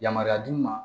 Yamaruya d'u ma